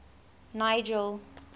nigel